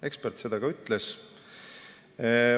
Ekspert seda ka ütles.